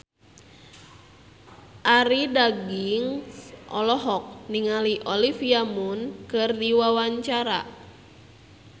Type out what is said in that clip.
Arie Daginks olohok ningali Olivia Munn keur diwawancara